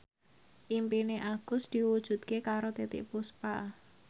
impine Agus diwujudke karo Titiek Puspa